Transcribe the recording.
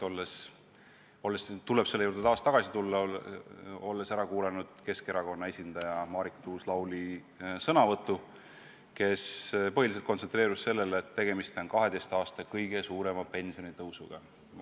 Selle juurde tuleb taas tagasi tulla, olles ära kuulanud Keskerakonna esindaja Marika Tuus-Lauli sõnavõtu, kes põhiliselt kontsentreerus sellele, et tegemist on 12 aasta kõige suurema pensionitõusuga.